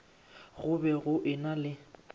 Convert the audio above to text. go be go ena le